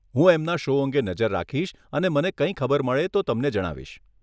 હું એમના શો અંગે નજર રાખીશ અને મને કંઈ ખબર મળે તો તમને જણાવીશ.